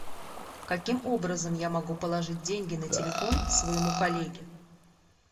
каким образом я могу положить деньги на телефон своему коллеге